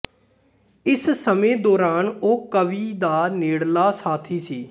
ਇਸ ਸਮੇਂ ਦੌਰਾਨ ਉਹ ਕਵੀ ਦਾ ਨੇੜਲਾ ਸਾਥੀ ਸੀ